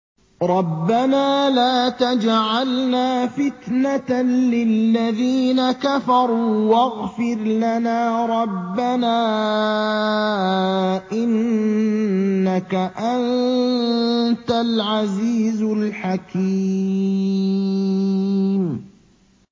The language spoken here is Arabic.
رَبَّنَا لَا تَجْعَلْنَا فِتْنَةً لِّلَّذِينَ كَفَرُوا وَاغْفِرْ لَنَا رَبَّنَا ۖ إِنَّكَ أَنتَ الْعَزِيزُ الْحَكِيمُ